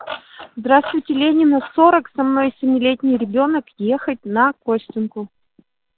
здравствуйте ленина сорок со мной семилетний ребёнок ехать на костинку